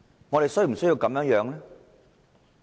我們是否需要這樣？